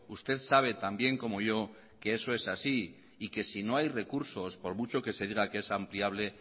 usted sabe también como yo que eso es así y que sino hay recursos por mucho que se diga que es ampliable